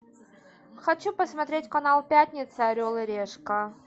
хочу посмотреть канал пятница орел и решка